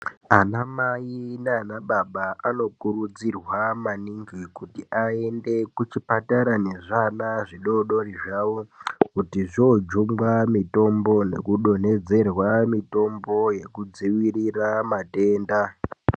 Ana mai nanababa anokurudzirwa maningi kuti aende kuchipatara nezviana zvidodori zvao kuti zvoojungwa mitombo nekudonhedzerwa mitombo yekudzivirira madenda.